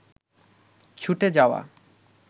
ছুটে যাওয়া